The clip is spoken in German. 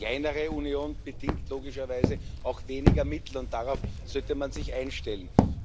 Eine kleinere Union bedingt logischerweise auch weniger Mittel, und darauf sollte man sich einstellen.